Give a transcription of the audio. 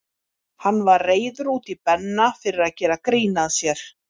Hann var reiður út í Benna fyrir að gera grín að sér.